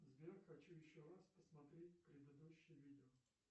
сбер хочу еще раз посмотреть предыдущее видео